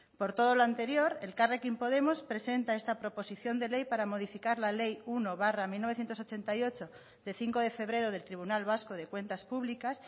por todo lo anterior elkarrekin podemos presenta esta proposición de ley para modificar la ley uno barra mil novecientos ochenta y ocho de cinco de febrero del tribunal vasco de cuentas públicas